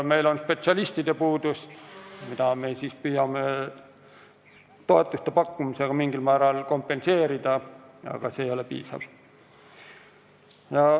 Meil on spetsialistide puudus, mida me püüame toetuste pakkumisega mingil määral kompenseerida, aga see ei ole piisav.